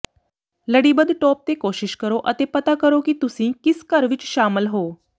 ਲੜੀਬੱਧ ਟੋਪ ਤੇ ਕੋਸ਼ਿਸ਼ ਕਰੋ ਅਤੇ ਪਤਾ ਕਰੋ ਕਿ ਤੁਸੀਂ ਕਿਸ ਘਰ ਵਿੱਚ ਸ਼ਾਮਲ ਹੋ